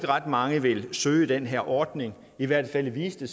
ret mange vil søge den her ordning i hvert fald viste